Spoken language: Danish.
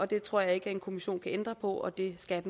det tror jeg ikke en kommission kan ændre på og det skal